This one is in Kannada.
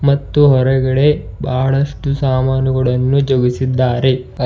ಮತ್ತು ಹೊರಗಡೆ ಬಹಳಷ್ಟು ಸಾಮಾನುಗಳನ್ನು ಜೋಗಿಸಿದ್ದಾರೆ ಅ--